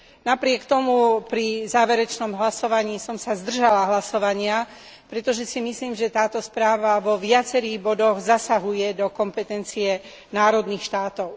Napriek tomu pri záverečnom hlasovaní som sa zdržala hlasovania, pretože si myslím, že táto správa vo viacerých bodoch zasahuje do kompetencie národných štátov.